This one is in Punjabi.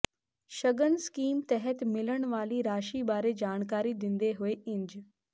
ਸ਼ਗਨ ਸਕੀਮ ਤਹਿਤ ਮਿਲਣ ਵਾਲੀ ਰਾਸ਼ੀ ਬਾਰੇ ਜਾਣਕਾਰੀ ਦਿੰਦੇ ਹੋਏ ਇੰਜ